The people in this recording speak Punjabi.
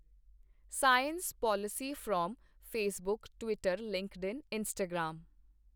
science policy from Facebook, Twitter, LinkedIn, Instagram